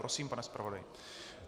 Prosím, pane zpravodaji.